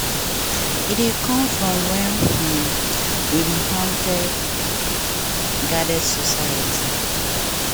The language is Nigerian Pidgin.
e dey comes from wen um we be hunter-gatherer society.